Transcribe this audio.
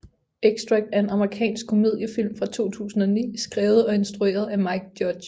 Extract er en amerikansk komediefilm fra 2009 skrevet og instrueret af Mike Judge